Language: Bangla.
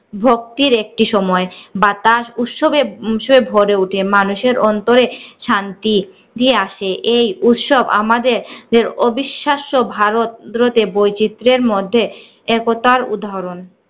ভক্তির একটি সময়। বাতাস উৎসবে উৎসবে ভরে উঠে মানুষের অন্তরে শান্তি তি আসে এই উৎসব আমাদের দের অবিশ্বাস্য ভারত গুলোতে বৈচিত্রের মধ্যে একতার উদাহরণ।